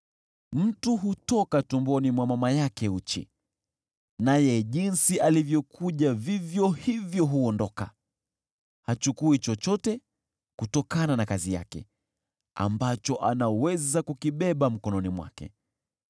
Mtu hutoka tumboni mwa mama yake uchi, naye jinsi alivyokuja vivyo hivyo huondoka. Hachukui chochote kutokana na kazi yake ambacho anaweza kukibeba mkononi mwake.